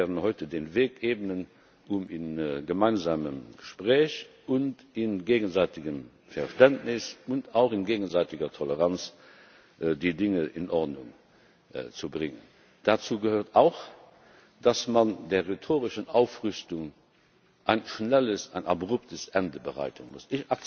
Aber wir werden heute den Weg ebnen, um im gemeinsamen Gespräch und in gegenseitigem Verständnis und auch in gegenseitiger Toleranz die Dinge in Ordnung zu bringen. Dazu gehört auch, dass man der rhetorischen Aufrüstung ein schnelles, ein abruptes Ende bereiten muss.